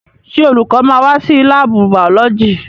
Ṣé olùkọ́ máa wá sí láàbù bàọ́lọ́jì?